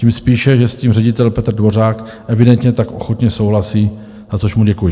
Tím spíše, že s tím ředitel Petr Dvořák evidentně tak ochotně souhlasí, za což mu děkuji.